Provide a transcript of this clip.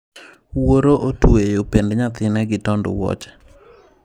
Wuoro otuweyo pend nyathine gi tond wuoche.